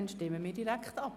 Dann stimmen wir direkt ab.